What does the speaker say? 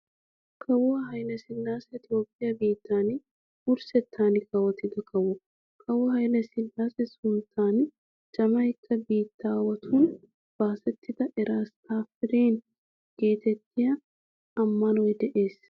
Kawuwaa Hayle sillaase Toophphiyaa biittan wurssettan kawotida kawo. Kawo Hayle sillaase sunttan Jamaykka biittaawatun baasettida "Eras Tafariyaan" geetettiya ammanoy de"ees.